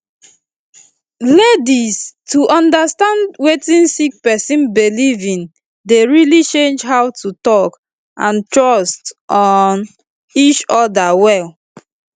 laidis to understand wetin sick person belief in dey really change how to talk and trust um each oda well